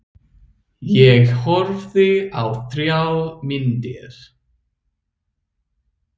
Ég horfði á þrjár myndir.